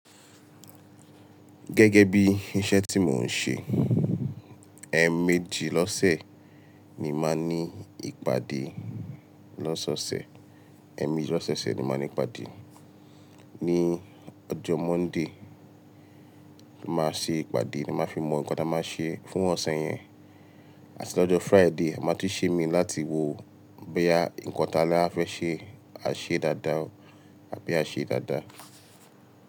Gẹ́gẹ́ bí iṣẹ́ tí mò ń ṣe, ẹ́ẹ̀mejì lọ́sẹ̀ ni màá ní ìpàdé. Lọ́ṣọ̀ọ̀sẹ̀ ẹ́ẹ̀mejì lọ́soose ni mo màá n ní ìpàdé. Ní ọjọ́ Monday, màá ṣe ìpàdé ni màá fi mọ nǹkan tí a máa ṣe fún ọ̀sẹ̀ yẹn. Àti lọ́jọ́ Friday, màá tún ṣe imií láti wò ó bóyá nǹkan tí a ni a fẹ́ ṣe, a ṣe dáadáa àbí a ṣe dáadáa.